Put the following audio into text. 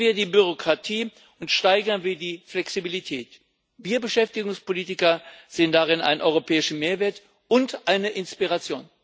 Reduzieren wir die Bürokratie, und steigern wir die Flexibilität! Wir Beschäftigungspolitiker sehen darin einen europäischen Mehrwert und eine Inspiration.